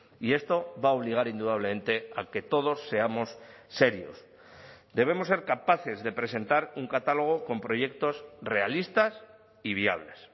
y esto va a obligar indudablemente a que todos seamos serios debemos ser capaces de presentar un catálogo con proyectos realistas y viables